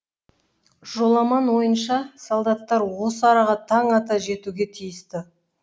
жоламан ойынша солдаттар осы араға тан ата жетуге тиісті